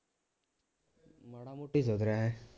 ਮਾੜਾ ਮੋਟਾ ਈ ਸੁਧਰਿਆ ਹੈਂਂ?